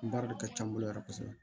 Baara de ka ca n bolo yɛrɛ kosɛbɛ